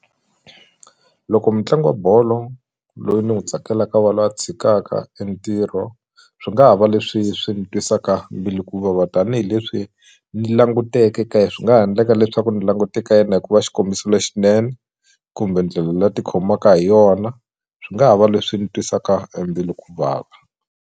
Loko mutlangi wa bolo loyi ni n'wu tsakelaka a va lwa tshikaka e ntirho swi nga ha va leswi swi ni twisaka mbilu hikuva tanihileswi ni languteke ka ye swi nga ha ndleka leswaku ni langute ka yena hikuva xikombiso lexinene kumbe ndlela la ti khomaka hi yona swi nga ha va leswi ni twisaka e mbilu ku vava.